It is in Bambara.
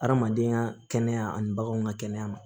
Hadamadenya kɛnɛya ani baganw ka kɛnɛya ma